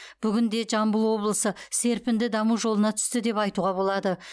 бүгінде жамбыл облысы серпінді даму жолына түсті деп айтуға болады